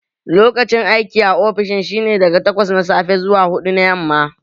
Lokacin aiki a ofishin shi ne daga takwas na safe zuwa huɗu na yamma